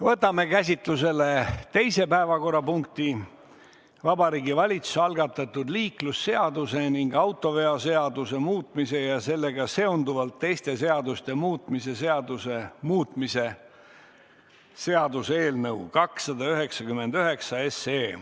Võtame käsitlusele teise päevakorrapunkti: Vabariigi Valitsuse algatatud liiklusseaduse ning autoveoseaduse muutmise ja sellega seonduvalt teiste seaduste muutmise seaduse muutmise seaduse eelnõu 299.